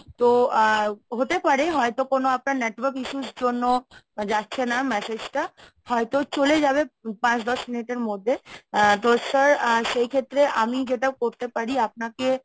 তো আ হতে পারে হয়তো কোনো আপনার network issue র জন্য যাচ্ছে না message টা। হয়তো চলে যাবে পাঁচ দশ মিনিটের মধ্যে। আ তো sir সেই ক্ষেত্রে আমি যেটা করতে পারি আপনাকে